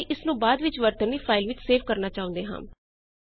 ਅਤੇ ਇਸਨੂੰ ਬਾਅਦ ਵਿੱਚ ਵਰਤਣ ਲਈ ਫਾਈਲ ਵਿੱਚ ਸੇਵ ਕਰਨਾ ਚਾਹੁੰਦੇ ਹਾਂ